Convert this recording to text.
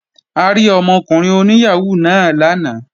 A rí ọmọkùnrin oní yàhóó náà lánàá